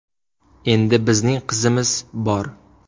Endi bizning qizimiz bor.